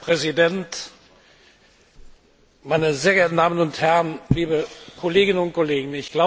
Herr Präsident, meine sehr geehrten Damen und Herren, liebe Kolleginnen und Kollegen!